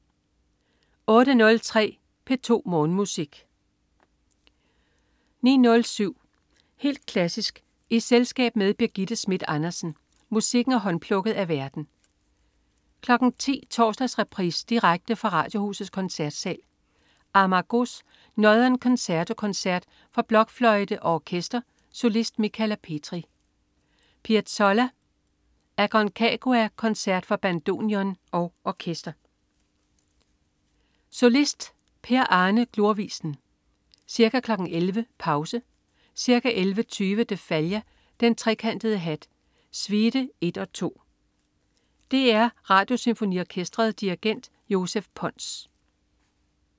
08.03 P2 Morgenmusik 09.07 Helt klassisk i selskab med Birgitte Schmidt Andersen. Musikken er håndplukket af værten 10.00 Torsdagsreprise direkte fra Radiohusets Koncertsal. Amargós: Northern Concerto koncert for blokfløjte g orkester. Solist: Michala Petri. Piazzolla: Aconcagua koncert for bandoneon og orkester. Solist: Per Arne Glorvigen. Ca. 11.00 Pause Ca. 11.20 de Falla: Den trekantede hat. Suite 1 og 2. Dr Radiosymfoniorkestret. Dirigent: Joseph Pons